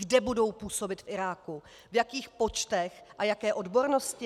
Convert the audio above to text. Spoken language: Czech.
Kde budou působit v Iráku, v jakých počtech a jaké odbornosti?